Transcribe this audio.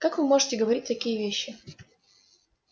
как вы можете говорить такие вещи